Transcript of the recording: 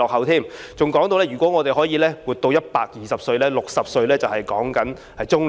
他還說如果我們能活到120歲 ，60 歲只是中年。